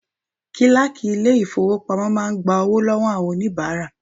Kíláàkì ilé ìfowópamọ́ máa ń gba owó lọ́wọ́ àwọn oníbàárà.